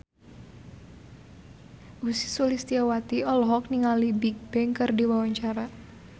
Ussy Sulistyawati olohok ningali Bigbang keur diwawancara